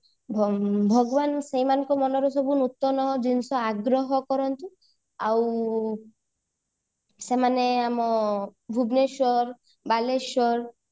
ଭଗବାନ ସେଇ ମାନଙ୍କ ମନରୁ ସବୁ ନୂତନ ଜିନିଷ ଆଗ୍ରହ କରନ୍ତୁ ଆଉ ସେମାନେ ଆମ ଭୁବନେଶ୍ବର ବାଲେଶ୍ଵର